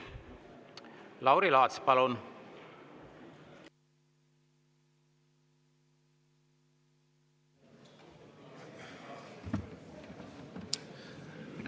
Lauri Laats, palun!